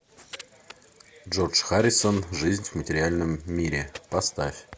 джордж харрисон жизнь в материальном мире поставь